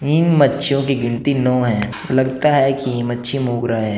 इन मच्छीयों की गिनती नौ है लगता है की मच्छी मोगरा है।